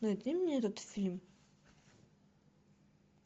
найди мне этот фильм